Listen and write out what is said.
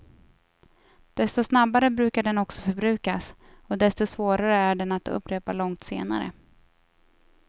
Desto snabbare brukar den också förbrukas, och desto svårare är den att upprepa långt senare.